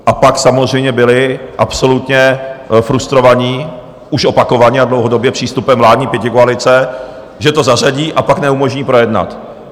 A pak samozřejmě byli absolutně frustrovaní, už opakovaně a dlouhodobě, přístupem vládní pětikoalice, že to zařadí, a pak neumožní projednat.